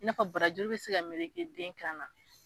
I n'a fɔ barajuru be se ka meleke den kan na